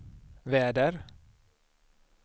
väder